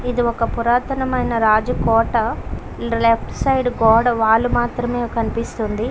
ఇది ఒక పురాతనమైన రాజు కోట లేఫ్ట్ సైడు గోడ వాళ్ళు మాత్రమే కనిపిస్తుంది.